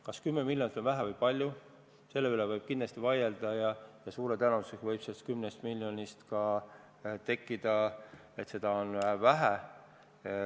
Kas 10 miljonit on vähe või palju, selle üle võib kindlasti vaielda ja suure tõenäosusega võidakse leida, et 10 miljonit on vähe.